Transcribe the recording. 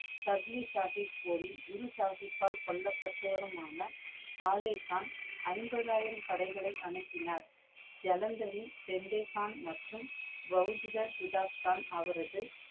சாஹிப் போரில் குரு சாஹிபால் கொல்லப்பட்டவருமான கலேக்ஹான் ஐம்பது ஆயிரம் படைகளை அனுப்பினார். ஜெலந்தரின் பெந்தேன்கான் மற்றும் அவரது